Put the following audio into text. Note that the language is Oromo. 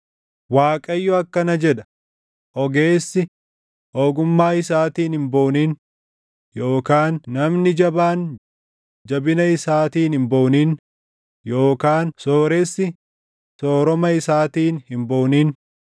Waaqayyo akkana jedha: “Ogeessi, ogummaa isaatiin hin boonin; yookaan namni jabaan, jabina isaatiin hin boonin yookaan sooressi, sooroma isaatiin hin boonin;